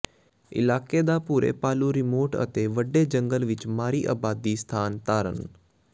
ਇਲਾਕੇ ਦਾ ਭੂਰੇ ਭਾਲੂ ਰਿਮੋਟ ਅਤੇ ਵੱਡੇ ਜੰਗਲ ਵਿਚ ਮਾੜੀ ਆਬਾਦੀ ਸਥਾਨ ਧਾਰਨ